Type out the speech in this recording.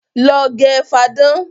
Lọ gẹ fáadán!